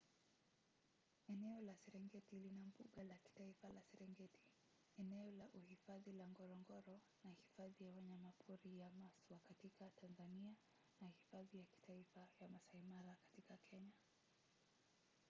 eneo la serengeti lina mbuga la kitaifa la serengeti eneo la uhifadhi la ngorongoro na hifadhi ya wanyamapori ya maswa katika tanzania na hifadhi ya kitaifa ya maasai mara katika kenya